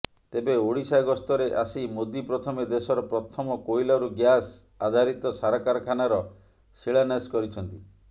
ତେବେ ଓଡ଼ିଶା ଗସ୍ତରେ ଆସି ମୋଦି ପ୍ରଥମେ ଦେଶର ପ୍ରଥମ କୋଇଲାରୁ ଗ୍ୟାସ ଆଧାରିତ ସାରକାରଖାନାର ଶିଳାନ୍ୟାସ କରିଛନ୍ତି